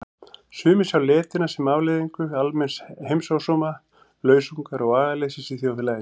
Sumir sjá letina sem afleiðingu almenns heimsósóma, lausungar og agaleysis í þjóðfélaginu.